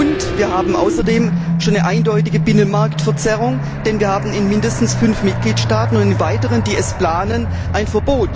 Und wir haben außerdem schon eine eindeutige Binnenmarktverzerrung, denn wir haben in mindestens fünf Mitgliedstaaten ein Verbot und weitere planen es.